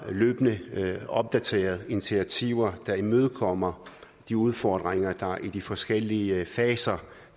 løbende får opdateret initiativer der imødekommer de udfordringer der er i de forskellige faser